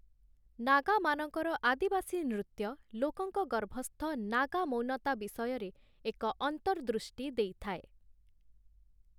ନାଗାମାନଙ୍କର ଆଦିବାସୀ ନୃତ୍ୟ ଲୋକଙ୍କ ଗର୍ଭସ୍ଥ ନାଗା ମୌନତା ବିଷୟରେ ଏକ ଅନ୍ତର୍ଦୃଷ୍ଟି ଦେଇଥାଏ ।